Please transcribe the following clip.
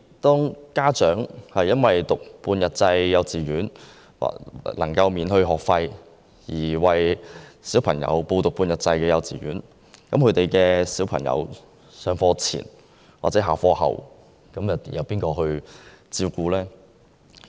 當家長因為半日制幼稚園免收學費而讓子女入讀，其子女在上課前或下課後，又由誰負責照顧呢？